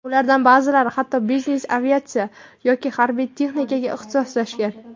Ulardan ba’zilari hatto biznes-aviatsiya yoki harbiy texnikaga ixtisoslashgan.